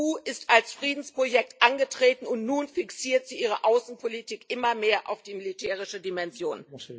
Die EU ist als Friedensprojekt angetreten, und nun fixiert sie ihre Außenpolitik immer mehr auf die militärische Dimension.